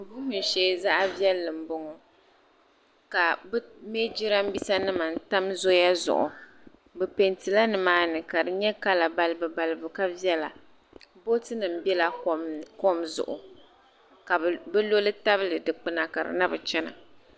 Vum shee zaɣiviɛlli m bo ŋɔ ka bɛ mei jiraanbiisanim n tam zoya zuɣu bɛ pɛntila ni maa ni ka nye kala balibu balibu ka viɛla bootinim biɛla kom zuɣu ka bi loli tabili dikpuna ka di nabi chana.